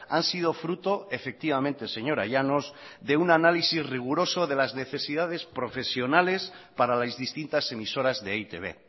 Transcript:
han sido fruto efectivamente señora llanos de un análisis riguroso de las necesidades profesionales para las distintas emisoras de e i te be